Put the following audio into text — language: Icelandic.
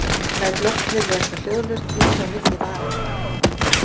Læt loftið leka hljóðlaust út á milli varanna.